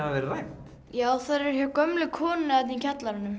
verið rænt já þær eru hjá gömlu konunni þarna í kjallaranum